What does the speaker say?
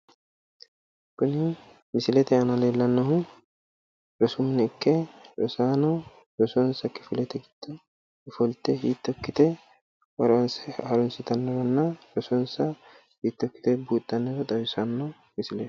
Kuni misilete aana leellannohu rosu mine ikke rosaano rosonsa kifilete giddo ofollite hitto ikkite harunsitannoronna rosonsa hiitto ikkite buuxxannoro xawissanno misileeti.